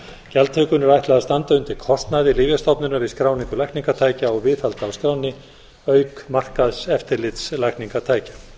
gjaldtökunni er ætlað að standa undir kostnaði lyfjastofnunar við skráningu lækningatækja og viðhald á skránni auk markaðseftirlits lækningatækja